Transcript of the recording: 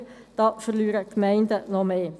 Hier verlieren die Gemeinden noch mehr.